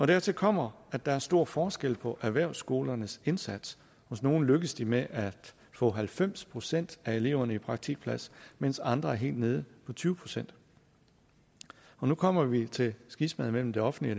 dertil kommer at der er stor forskel på erhvervsskolernes indsats hos nogle lykkes de med at få halvfems procent af eleverne i praktikplads mens andre er helt nede på tyve procent og nu kommer vi til skismaet mellem det offentlige